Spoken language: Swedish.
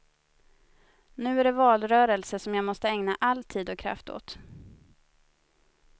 Nu är det valrörelse som jag måste ägna all tid och kraft åt.